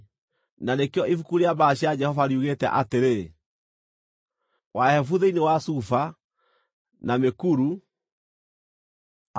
Na nĩkĩo Ibuku rĩa Mbaara cia Jehova riugĩte atĩrĩ: “… Wahebu thĩinĩ wa Sufa, na mĩkuru, Arinoni